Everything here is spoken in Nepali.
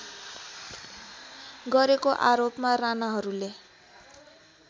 गरेको आरोपमा राणाहरूले